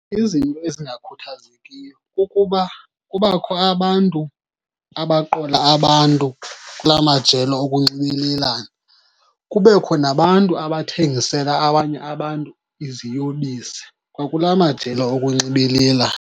Izinto ezingakhuthazekiyo kukuba kubakho abantu abaqola abantu kulaa majelo okunxibelelana. Kubekho nabantu abathengisela abanye abantu iziyobisi kwa kulaa majelo okunxibelelana.